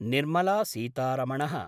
निर्मलासीतारमण: